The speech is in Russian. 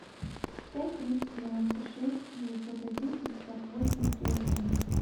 пять триста девяносто шесть девятьсот один пятьдесят восемь три один